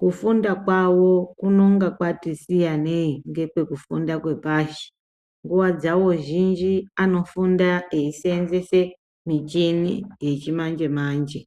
kufunda jwawo kunenga kwati siyanei ngekwekufunda kwepashi nguwa dzawo zhinji anofunda eisenzese michini yechimanje manje.